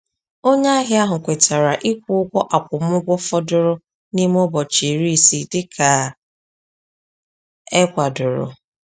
Onye ahịa ahụ kwetara ịkwụ ụgwọ akwụmụgwọ fọdụrụ n’ime ụbọchị iri isii dịka e kwadoro.